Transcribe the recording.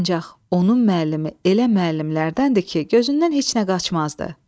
Ancaq onun müəllimi elə müəllimlərdəndir ki, gözündən heç nə qaçmazdı.